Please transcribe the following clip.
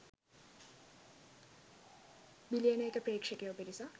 මිලියන ක ප්‍රේක්ෂකයෝ පිරිසක්